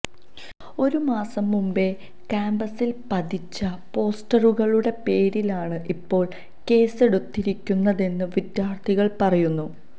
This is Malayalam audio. ഒരുമാസം മുമ്പേ കാമ്പസില് പതിച്ച പോസ്റ്ററുകളുടെ പേരിലാണ് ഇപ്പോള് കേസെടുത്തിരിക്കുന്നതെന്ന് വിദ്യാര്ഥികള് പറയുന്നു